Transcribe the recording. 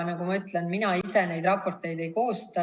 Aga ma ütlen, et mina ise neid raporteid ei koosta.